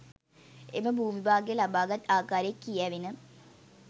එම භූමිභාගය ලබාගත් ආකාරය කියැවෙන